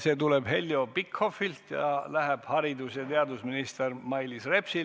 See tuleb Heljo Pikhofilt ja läheb haridus- ja teadusminister Mailis Repsile.